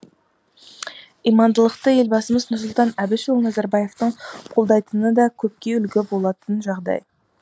имандылықты елбасымыз нұрсұлтан әбішұлы назарбаевтың қолдайтыны да көпке үлгі болатын жагдай